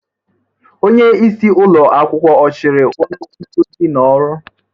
Onye isi ụlọ akwụkwọ ọ chụrụ onye nkuzi n'ọrụ?